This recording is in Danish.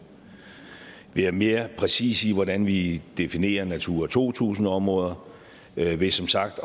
ved at være mere præcise i hvordan vi definerer natura to tusind områder ved ved som sagt